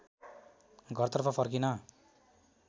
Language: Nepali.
घरतर्फ फर्किन